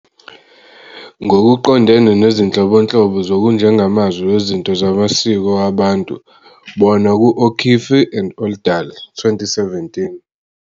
Ngokuqondene nezinhlobonhlobo zokujengamazwi wezinto zamasiko wabantu, bona ku- O'Keefe and Oldal, 2017.